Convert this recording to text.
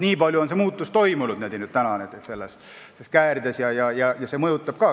Nii palju on see muutunud, siin on teatud käärid, ja eks see kõik mõjutab.